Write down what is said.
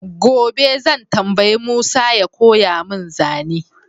gobe zan tambayi Musa ya koya mun zane